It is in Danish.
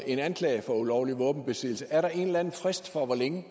en anklage for ulovlig våbenbesiddelse er der en eller anden frist for hvor længe